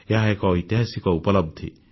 ଏହା ଏକ ଐତିହାସିକ ଉପଲବ୍ଧି